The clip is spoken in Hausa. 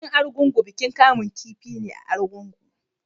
Bikin Argungu bikin kamun kifi ne a Kebbi.